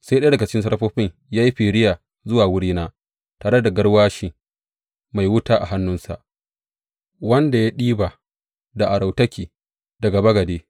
Sai ɗaya daga cikin serafofin ya yi firiya zuwa wurina tare da garwashi mai wuta a hannunsa, wanda ya ɗiba da arautaki daga bagade.